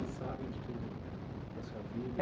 Eles sabem de tudo da sua vida?